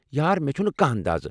یار، مےٚ چھُنہٕ کانٛہہ اندازٕ۔